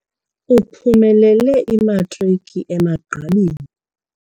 Uphumelele imatriki emagqabini.